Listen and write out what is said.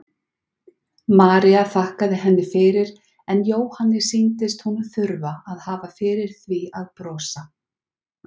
María þakkaði henni fyrir en Jóhanni sýndist hún þurfa að hafa fyrir því að brosa.